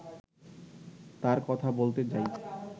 তার কথা বলতে যাই